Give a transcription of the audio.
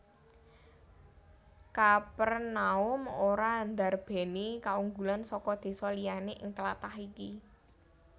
Kapernaum ora ndarbèni kaunggulan saka désa liyané ing tlatah iki